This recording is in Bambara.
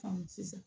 sisan